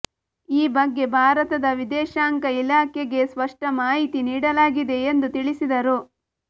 ಈ ಬಗ್ಗೆ ಭಾರತದ ವಿದೇಶಾಂಗ ಇಲಾಖೆಗೆ ಸ್ಪಷ್ಟ ಮಾಹಿತಿ ನೀಡಲಾಗಿದೆ ಎಂದು ತಿಳಿಸಿದರು